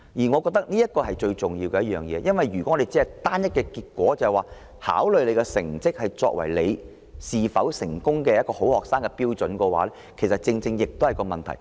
我覺得這是最重要的，因為如果我們只以成績作為是否好學生的單一標準，這其實很有問題。